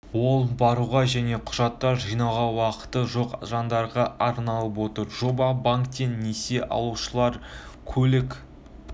ол баруға және құжаттар жинауға уақыты жоқ жандарға арналып отыр жоба банктен несие алушылар көлік